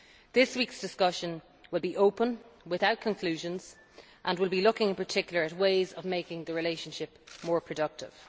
This week's discussion will be open, without conclusions, and will be looking in particular at ways of making the relationship more productive.